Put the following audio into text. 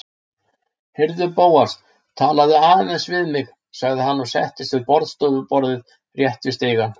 Heyrðu, Bóas, talaðu aðeins við mig- sagði hann og settist við borðstofuborðið rétt við stigann.